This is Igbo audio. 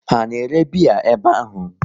Ha na ere biya ebe ahụ?